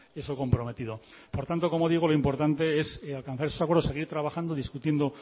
eso comprometido por tanto como digo lo importante es alcanzar esos acuerdos seguir trabajando discutiendo